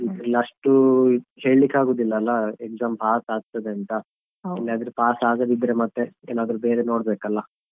ಇದ್ರಲ್ಲಿ ಅಷ್ಟು ಹೇಳ್ಲಿಕ್ಕೆ ಆಗುದಿಲ್ಲಲ್ಲಾ exam pass ಆಗ್ತದಂತ ಎಲ್ಲಾದ್ರೂ pass ಆಗದಿದ್ರೆ ಮತ್ತೆ ಏನಾದ್ರೂ ಬೇರೆ ನೋಡ್ಬೇಕಲ್ಲ.